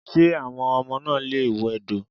Ṣé àwọn ọmọ náà lè wẹdò?